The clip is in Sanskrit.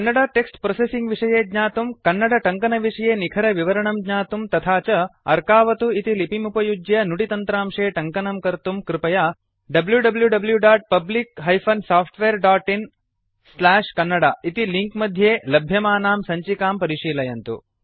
कन्नड टेक्स्ट् प्रोसेसिंग् विषये ज्ञातुं कन्नड टङ्कन विषये निखरविवरणं ज्ञातुं तथा च अर्कवथु इति लिपिमुपयुज्य नुडि तन्त्रांशे टङ्कनं कर्तुं कृपया wwwPublic SoftwareinKannada इति लिंक् मध्ये लभ्यमानां सञ्चिकां परिशीलयन्तु